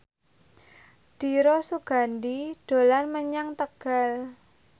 Dira Sugandi dolan menyang Tegal